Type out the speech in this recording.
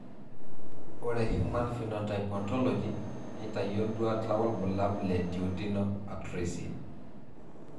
Orethe human phenotype Ontology neitayio nduata wobulabul le Duodenal atresia.